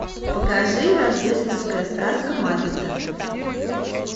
покажи рождественская сказка маппетов